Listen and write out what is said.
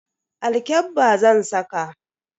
Alkyabba zan saka.